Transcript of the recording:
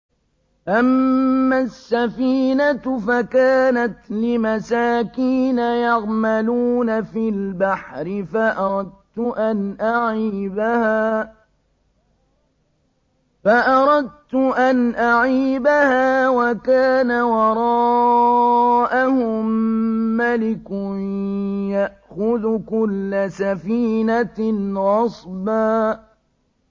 أَمَّا السَّفِينَةُ فَكَانَتْ لِمَسَاكِينَ يَعْمَلُونَ فِي الْبَحْرِ فَأَرَدتُّ أَنْ أَعِيبَهَا وَكَانَ وَرَاءَهُم مَّلِكٌ يَأْخُذُ كُلَّ سَفِينَةٍ غَصْبًا